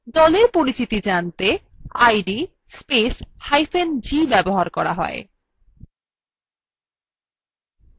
দলের পরিচিতি জানতে id spacehyphen g ব্যবহৃত হয়